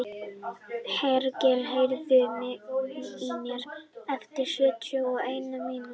Hergill, heyrðu í mér eftir sjötíu og eina mínútur.